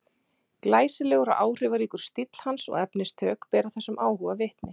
Glæsilegur og áhrifaríkur stíll hans og efnistök bera þessum áhuga vitni.